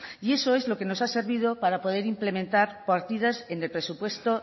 y eso es lo que nos ha servido para poder implementar partidas en el presupuesto